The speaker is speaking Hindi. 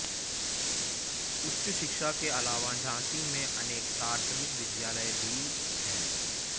उच्च शिक्षा के अलावा झॉसी में अनेक प्राथमिक विद्यालय भी है